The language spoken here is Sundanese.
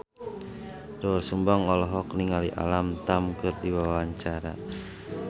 Doel Sumbang olohok ningali Alam Tam keur diwawancara